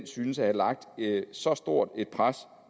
synes at have lagt så stort et pres